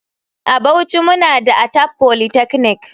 A bauchi muna da Atap polytechnic.